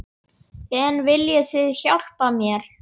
En viljið þið hjálpa mér?